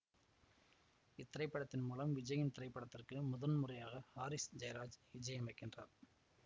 இத்திரைப்படத்தின் மூலம் விஜயின் திரைப்படத்திற்கு முதன் முறையாக ஹாரிஸ் ஜெயராஜ் இஜையமைக்கின்றார்